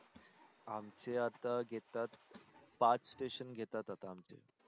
आमचे आता घेतात पाच station घेतात आता आमचे